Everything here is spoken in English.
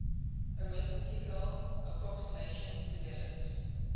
arithmetical approximations developed